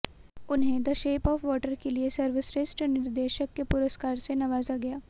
उन्हें the shape of water के लिए सर्वश्रेष्ठ निर्देशक के पुरस्कार से नवाजा गया